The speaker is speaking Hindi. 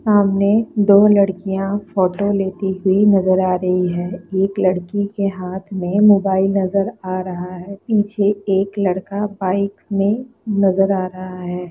सामने दो लड़कियां फोटो लेती हुई नजर आ रही है एक लड़की के हाथ में मोबाइल नजर आ रहा है पीछे एक लड़का बाइक में नजर आ रहा है।